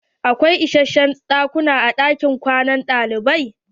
Akwai isashen ɗakuna a ɗakin kwanan ɗalibai.